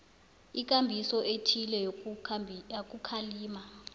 ikambiso ethileko yokukhalima